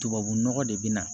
Tubabu nɔgɔ de bɛ na